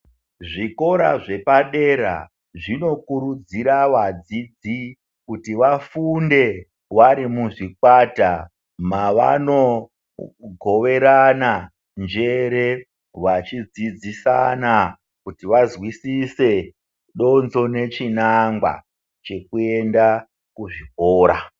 Zvikora zvepadera zvinokurudzira kuti vadzidzi kuti vafunde vari muzvikwata mavanogoverana njere, vachidzidzisana kuti vazwisise donzvo nechinangwa chekuenda kuzvikora.